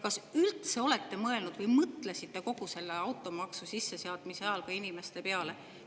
" Kas te üldse olete mõelnud või mõtlesite automaksu sisseseadmise ajal ka inimeste peale?